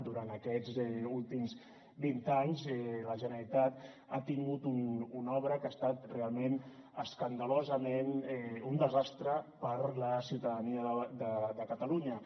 durant aquests últims vint anys la generalitat ha tingut una obra que ha estat realment escandalosament un desastre per a la ciutadania de catalunya